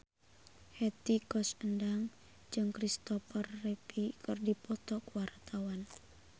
Hetty Koes Endang jeung Christopher Reeve keur dipoto ku wartawan